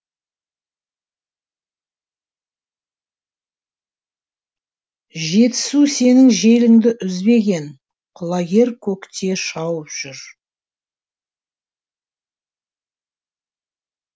жетісу сенің желіңді үзбеген құлагер көкте шауып жүр